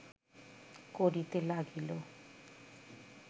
করিতে লাগিল